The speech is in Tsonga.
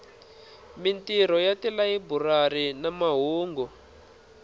mintirho ya tilayiburari ni mahungu